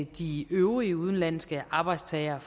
de øvrige udenlandske arbejdstagere